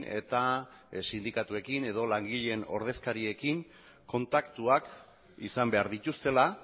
eta sindikatuekin edo langileen ordezkariekin kontaktuak izan behar dituztela